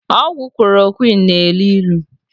Ọgwụ klorokwinu na-elu ilu.